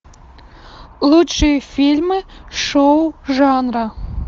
лучшие фильмы шоу жанра